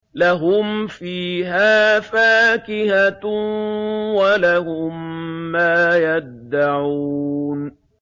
لَهُمْ فِيهَا فَاكِهَةٌ وَلَهُم مَّا يَدَّعُونَ